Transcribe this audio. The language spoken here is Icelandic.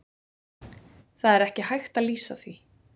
Það er ekki hægt að lýsa því.